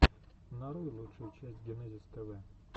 нарой лучшую часть генезис тв